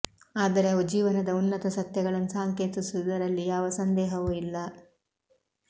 ಆದರೆ ಅವು ಜೀವನದ ಉನ್ನತ ಸತ್ಯಗಳನ್ನು ಸಾಂಕೇತಿಸುವುದರಲ್ಲಿ ಯಾವ ಸಂದೇಹವೂ ಇಲ್ಲ